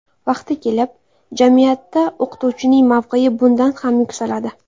Vaqti kelib, jamiyatda o‘qituvchining mavqei bundan ham yuksaladi.